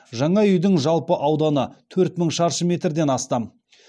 жаңа үйдің жалпы ауданы төрт мың шаршы метрден астам